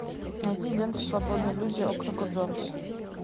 найди ленту свободные люди округа джонс